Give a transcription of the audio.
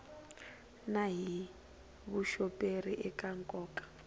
na hi vuxoperi eka nkoka